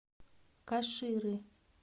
каширы